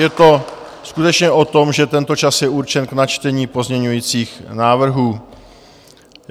Je to skutečně o tom, že tento čas je určen k načtení pozměňovacích návrhů.